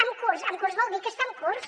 en curs en curs vol dir que està en curs